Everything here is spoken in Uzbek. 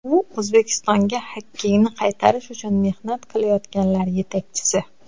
U O‘zbekistonga xokkeyni qaytarish uchun mehnat qilayotganlar yetakchisi.